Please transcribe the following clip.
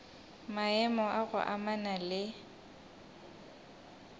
maemo a go amana le